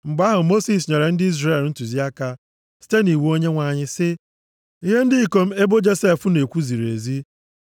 Mgbe ahụ, Mosis nyere ndị Izrel ntụziaka site nʼiwu Onyenwe anyị sị, “Ihe ndị ikom ebo Josef na-ekwu ziri ezi.